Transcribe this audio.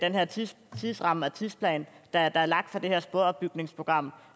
tidsrammen og tidsplanen der er lagt for det her sporopbygningsprogram